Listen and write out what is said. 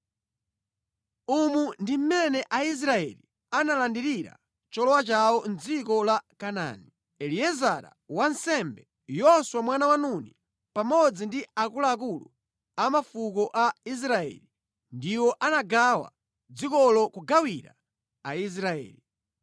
Umu ndi mmene Aisraeli analandirira cholowa chawo mʼdziko la Kanaani. Eliezara wansembe, Yoswa mwana wa Nuni pamodzi ndi akuluakulu a mafuko a Israeli ndiwo anagawa dzikolo kugawira Aisraeli.